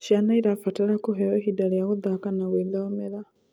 Ciana irabatara kuheo ihinda rĩa guthaka na gwithomera